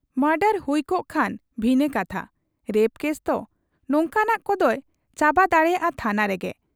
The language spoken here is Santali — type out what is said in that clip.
ᱢᱚᱰᱚᱨ ᱦᱩᱭᱠᱚᱜ ᱠᱷᱟᱱ ᱵᱷᱤᱱᱟᱹ ᱠᱟᱛᱷᱟ; ᱨᱮᱯ ᱠᱮᱥᱛᱚ, ᱱᱚᱝᱠᱟᱱᱟᱜ ᱠᱚᱫᱚᱭ ᱪᱟᱵᱟ ᱫᱟᱲᱮᱭᱟᱜ ᱟ ᱛᱷᱟᱱᱟ ᱨᱮᱜᱮ ᱾